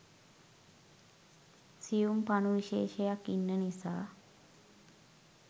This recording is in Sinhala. සියුම් පණු විශේෂයක් ඉන්න නිසා.